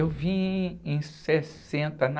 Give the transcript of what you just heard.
Eu vim em sessenta, na